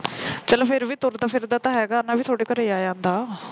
ਚੱਲ ਫਿਰ ਵੀ ਤੁਰਦਾ ਫਿਰਦਾ ਤਾਂ ਹੈਗਾ ਨਾ ਵੀ ਤੁਹਾਡੇ ਘਰ ਆ ਜਾਂਦਾ